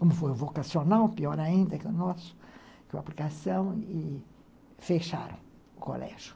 Como foi o vocacional, pior ainda que o nosso, que o aplicação, e fecharam o colégio.